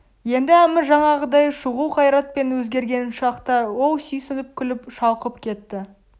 енді әмір жаңағыдай шұғыл қайратпен өзгерген шақта ол сүйсініп күліп шалқып кетті